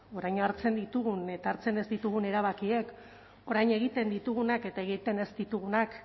orain hartzen ditugun eta hartzen ez ditugun erabakiek orain egiten ditugunak eta egiten ez ditugunak